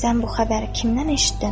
Sən bu xəbəri kimdən eşitdin?